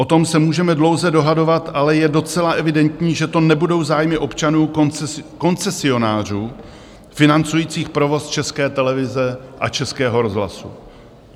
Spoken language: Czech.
O tom se můžeme dlouze dohadovat, ale je docela evidentní, že to nebudou zájmy občanů - koncesionářů financujících provoz České televize a Českého rozhlasu.